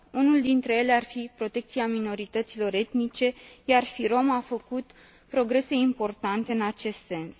Unul dintre ele ar fi protecția minorităților etnice, iar FYROM a făcut progrese importante în acest sens.